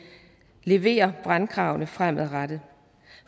leverer brandkravene fremadrettet